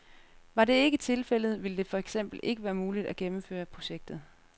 Var det ikke tilfældet, ville det for eksempel ikke være muligt at gennemføre projektet.